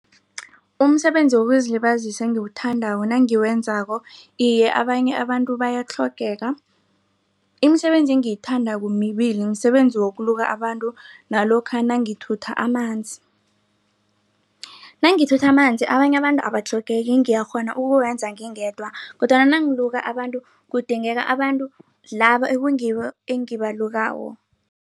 Umsebenzi wokuzilibazisa engiwuthandako nangiwenzako iye abanye abantu bayatlhogeka. Imisebenzi engiyithandako mibili msebenzi wokuluka abantu nalokha nangithutha amanzi. Nangithutha amanzi abanye abantu abatlhogeki ngiyakghona ukukwenza ngingedwa kodwana nangiluka abantu kudingeka abantu laba ekungibo engibalukako.